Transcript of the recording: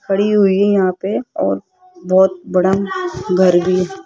खड़ी हुई यहां पे और बहोत बड़ा घर भी--